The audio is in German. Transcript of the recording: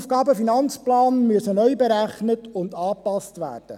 Auch der AFP muss neu berechnet und angepasst werden.